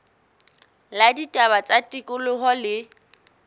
la ditaba tsa tikoloho le